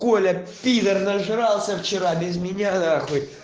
коля пидар нажрался вчера без меня нахуй